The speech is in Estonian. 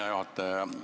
Hea juhataja!